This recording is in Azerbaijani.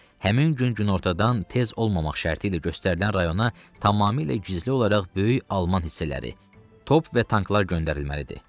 Həmin gün günortadan tez olmamaq şərti ilə göstərilən rayona tamamilə gizli olaraq böyük alman hissələri, top və tanklar göndərilməlidir.